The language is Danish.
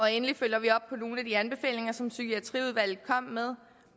endelig følger vi op på nogle af de anbefalinger som psykiatriudvalget kom med